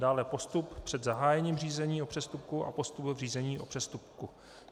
Dále postup před zahájením řízení o přestupku a postup v řízení o přestupku.